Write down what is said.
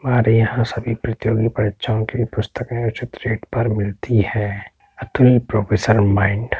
और यहां सभी प्रतियोगी परीक्षाओ की पुस्तकें हैं जो उचित रेट पे मिलती हैं। --